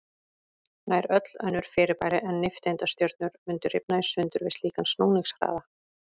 Nær öll önnur fyrirbæri en nifteindastjörnur mundu rifna í sundur við slíkan snúningshraða.